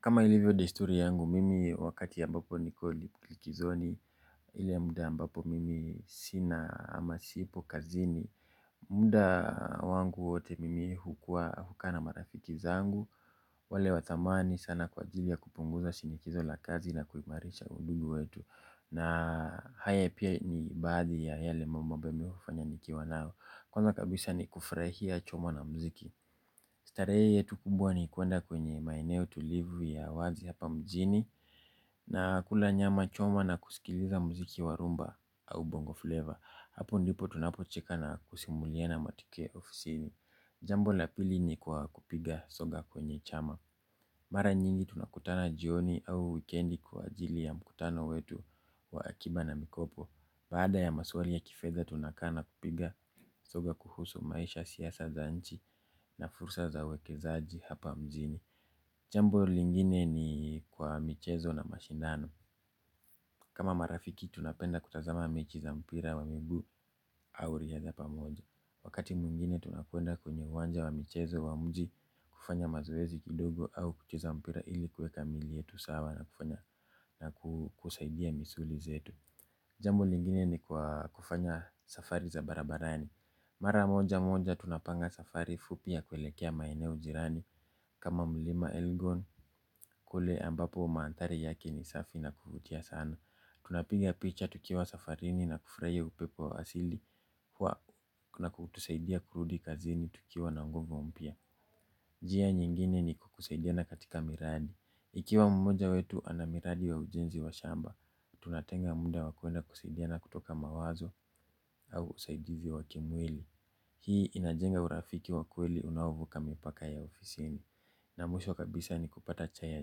Kama ilivyo dehisturi yangu, mimi wakati ambapo niko likizoni. Ile muda ambapo mimi sina amasipo kazini. Munda wangu wote mimi huka na marafiki zangu. Wale wa thamani sana kwa ajili ya kupunguza shinikizo la kazi na kuimarisha huduma wetu. Na haya pia ni baadhi ya yale mambo ambayo nimefanya nikiwa nao. Kwanza kabisa ni kufurahia chombo na muziki. Starehe yetu kubwa ni kuenda kwenye maeneo tulivu ya wazi hapa mjini na kula nyama choma na kusikiliza muziki wa rumba au bongo flavor. Hapo ndipo tunapocheka na kusimuliana matokeo ya ofisini. Jambo la pili ni kwa kupiga soga kwenye chama. Mara nyingi tunakutana jioni au wikendi kwa ajili ya mkutano wetu wa akiba na mikopo. Baada ya maswali ya kifedha tunakaa na kupiga soga kuhusu maisha, siasa za nchi na fursa za uwekezaji hapa mjini. Jambo lingine ni kwa michezo na mashindano. Kama marafiki tunapenda kutazama mechi za mpira wa miguu au riadha pamoja. Wakati mwingine tunapoenda kwenye uwanja wa michezo wa mji kufanya mazoezi kidogo au kucheza mpira ili kuweka miili yetu sawa na kufanya na kusaidia misuli zetu. Jambo lingine ni kwa kufanya safari za barabarani. Mara moja moja tunapanga safari fupi ya kuelekea maeneo jirani. Kama mlima elgon, kule ambapo mandhari yake ni safi na kuvutia sana. Tunapiga picha tukiwa safarini na kufurahia upepo wa asili. Huwa kuna kutusaidia kurudi kazini tukiwa na nguvu mpya. Njia nyingine ni kusaidiana katika miradi. Ikiwa mmoja wetu ana miradi ya ujenzi wa shamba tunatenga muda wa kuenda kusaidiana kutoka mawazo au usaidizi wa kimwili. Hii inajenga urafiki wa kweli unaovuka mipaka ya ofisini. Na mwisho kabisa ni kupata chai ya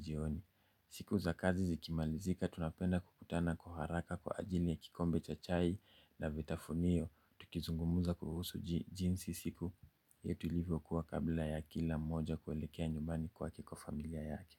jioni. Siku za kazi zikimalizika tunapenda kukutana kwa haraka kwa ajili ya kikombe cha chai na vitafunio. Tukizungumuza kuhusu jinsi siku yetu ilivyokuwa kabla ya kila mmoja kuelekea nyumbani kwake kwa familia yake.